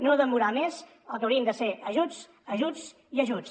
no demorar més el que haurien de ser ajuts ajuts i ajuts